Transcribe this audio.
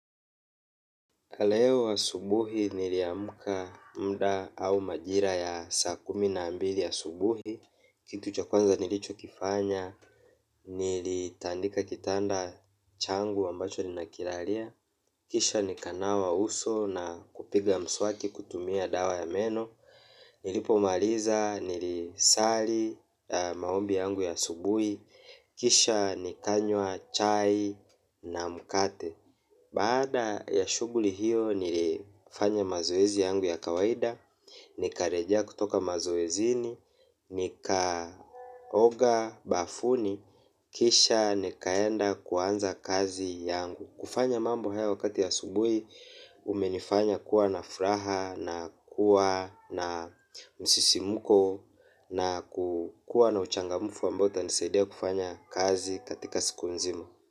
Leo asubuhi niliamka muda au majira ya saa kumi na mbili ya subuhi, kitu cha kwanza nilichokifanya, nilitandika kitanda changu ambacho ninakilalia, kisha nikanawa uso na kupiga mswaki kutumia dawa ya meno, nilipomaliza nilisali maombi yangu ya asubuhi, kisha nikanywa chai na mkate. Baada ya shughuli hiyo nilifanya mazoezi yangu ya kawaida, nikarejea kutoka mazoezini, nikaoga bafuni, kisha nikaenda kuanza kazi yangu. Kufanya mambo hayo wakati ya asubui umenifanya kuwa na furaha na kuwa na msisimuko na kuwa na uchangamufu ambao utanisaidia kufanya kazi katika siku nzima.